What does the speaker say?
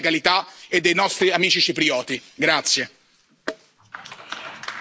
Per questo siamo e saremo sempre a fianco della legalità e dei nostri amici ciprioti.